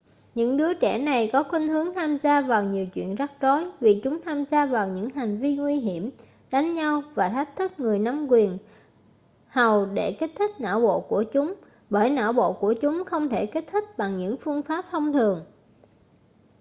những đứa trẻ này có khuynh hướng tham gia vào nhiều chuyện rắc rối vì chúng tham gia vào những hành vi nguy hiểm đánh nhau và thách thức người nắm quyền hầu để kích thích não bộ của chúng bởi não bộ của chúng không thể kích thích bằng những phương pháp thông thường